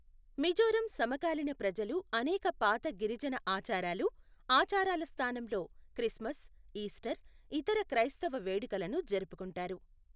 మిజోరం సమకాలీన ప్రజలు అనేక పాత గిరిజన ఆచారాలు, ఆచారాల స్థానంలో క్రిస్మస్, ఈస్టర్, ఇతర క్రైస్తవ వేడుకలను జరుపుకుంటారు.